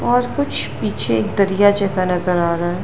और कुछ पीछे एक दरिया जैसा नजर आ रहा है।